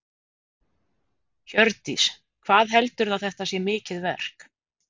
Hjördís: Hvað heldurðu að þetta sé mikið verk?